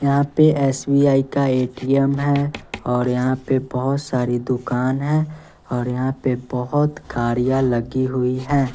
यहां पे एस_बी_आई का ए_टी_एम है और यहां पे बहोत सारी दुकान है और यहां पे बहोत गाड़ियां लगी हुई है।